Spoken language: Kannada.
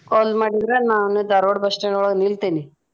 Call ಮಾಡಿದ್ರ ನಾನು ಧಾರ್ವಾಡ್ bus stand ಯೊಳಗ ನಿಲ್ತೆನಿ.